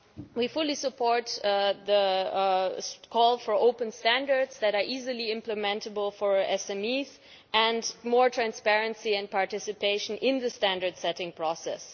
We fully support the call for open standards that can easily be implemented by SMEs and more transparency and participation in the standard setting process.